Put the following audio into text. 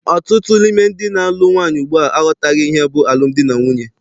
Ọtụtụ n'ime ndị na-alụ nwaanyị ugbua aghọtaghị ihe bụ alụmdi na nwunye.